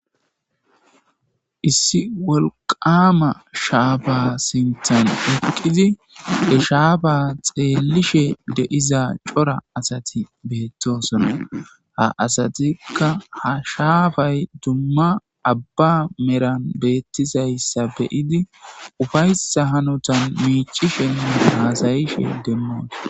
issi wolqama shaafa sintan huqqizi eshaafa xeelishe de7iza cora asati beettosona ha asatikka ha shaafay dumma abba meran beettisayssa beyidi ufaysa hanotan miicishen haasayishe demmoos